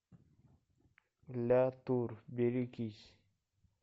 ля тур берегись